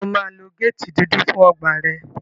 Ṣé o máa lo géètì dúdú fún ọgbà rẹ?